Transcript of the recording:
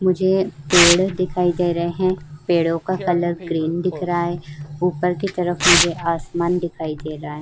मुझे पेड़ दिखाई दे रहे है। पेड़ों का कलर ग्रीन दिख रहा है। ऊपर की तरफ मुझे आसमान दिखाई दे रहा है।